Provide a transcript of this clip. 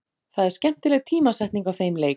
Það er skemmtileg tímasetning á þeim leik.